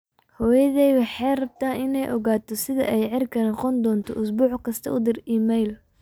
hooyaday waxay rabtaa in ay ogaato sida ay cirka noqon doonto usbuuc kasta u dir iimayl